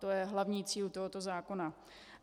To je hlavní cíl tohoto zákona.